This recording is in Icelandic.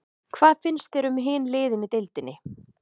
Hvað finnst þér um hin liðin í deildinni?